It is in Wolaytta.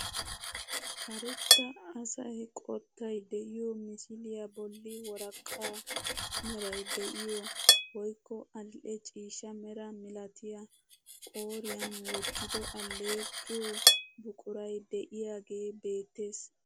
Karetta asaa qottay de'iyoo misiliyaa bolli worqqaa meray de'iyoo woykko adil'e ciishsha mera milatiyaa qooriyaan wottido alleqiyoo buquray de'iyaagee beettees.